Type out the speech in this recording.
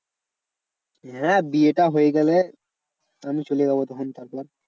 হ্যাঁ বিয়েটা হয়ে গেলে আমি চলে যাবো তখন তারপর।